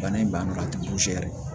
Bana in banna a tɛ yɛrɛ